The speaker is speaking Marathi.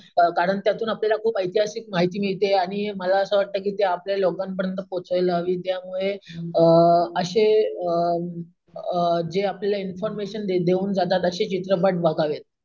कारण त्यातून आपल्याला खूपच ऐतिहासिक माहिती मिळते आणि मला असं वाटतं कि ती आपल्या लोकांपर्यंत पोहोचायला हवी त्यामुळेअम असे अम अम जे आपल्याला इन्फॉर्मेशन देऊन जातात अशी चित्रपट बघावेत.